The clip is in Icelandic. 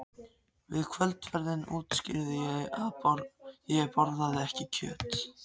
Við kvöldverðinn útskýrði ég að ég borðaði ekki kjöt.